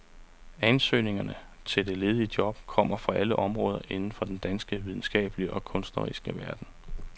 Ansøgerne til det ledige job kommer fra alle områder inden for den danske videnskabelige og kunstneriske verden.